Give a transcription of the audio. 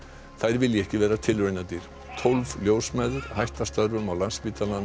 þær vilji ekki vera tilraunadýr tólf ljósmæður hætta störfum á Landspítalanum